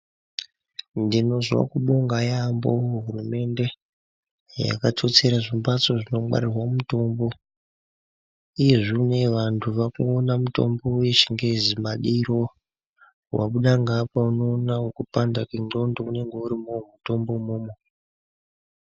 Ndinozwa kubonga yaamho hurumende, iyo yakatsotsera zvimbatso zvinongwarirwa mutombo, iyezvi uneyi vantu vakuona mutombo wechingezi madiro. Wabuda ngeapa unoona wekupanda kwendxondo unenge urimowo mutombo imomo.